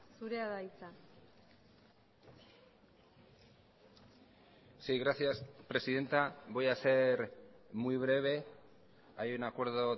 zurea da hitza sí gracias presidenta voy a ser muy breve hay un acuerdo